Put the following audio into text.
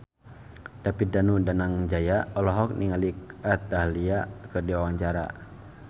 David Danu Danangjaya olohok ningali Kat Dahlia keur diwawancara